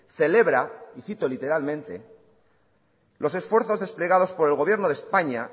celebra y cito literalmente los esfuerzos desplegados por el gobierno de españa